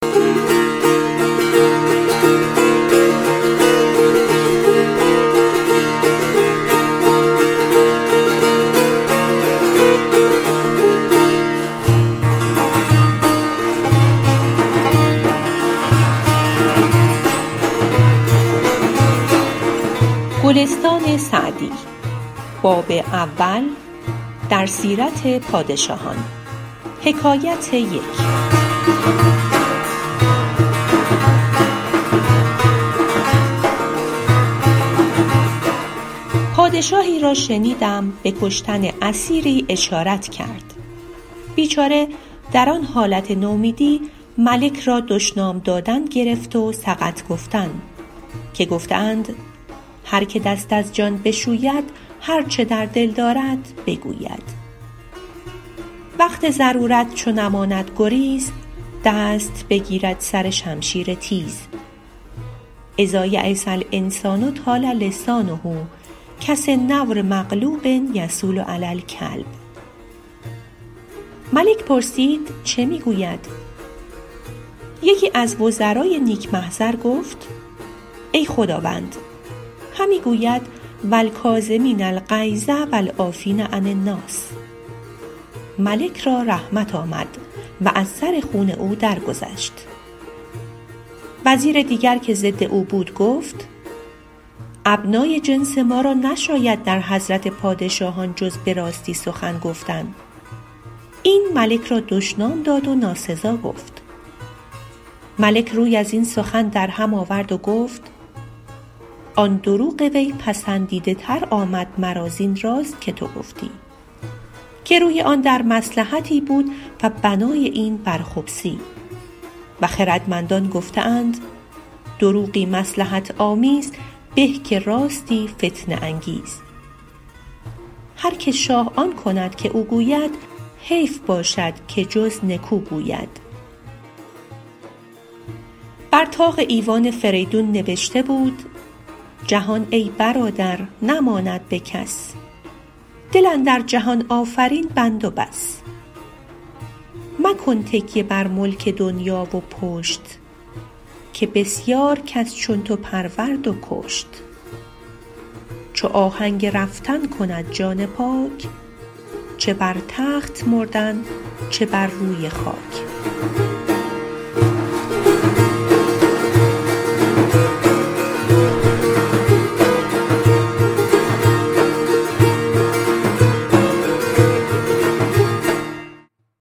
پادشاهی را شنیدم به کشتن اسیری اشارت کرد بیچاره در آن حالت نومیدی ملک را دشنام دادن گرفت و سقط گفتن که گفته اند هر که دست از جان بشوید هر چه در دل دارد بگوید وقت ضرورت چو نماند گریز دست بگیرد سر شمشیر تیز إذا ییس الإنسان طال لسانه کسنور مغلوب یصول علی الکلب ملک پرسید چه می گوید یکی از وزرای نیک محضر گفت ای خداوند همی گوید و الکاظمین الغیظ و العافین عن الناس ملک را رحمت آمد و از سر خون او درگذشت وزیر دیگر که ضد او بود گفت ابنای جنس ما را نشاید در حضرت پادشاهان جز به راستی سخن گفتن این ملک را دشنام داد و ناسزا گفت ملک روی از این سخن در هم آورد و گفت آن دروغ وی پسندیده تر آمد مرا زین راست که تو گفتی که روی آن در مصلحتی بود و بنای این بر خبثی و خردمندان گفته اند دروغی مصلحت آمیز به که راستی فتنه انگیز هر که شاه آن کند که او گوید حیف باشد که جز نکو گوید بر طاق ایوان فریدون نبشته بود جهان ای برادر نماند به کس دل اندر جهان آفرین بند و بس مکن تکیه بر ملک دنیا و پشت که بسیار کس چون تو پرورد و کشت چو آهنگ رفتن کند جان پاک چه بر تخت مردن چه بر روی خاک